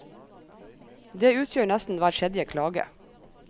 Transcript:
Det utgjør nesten hver tredje klage.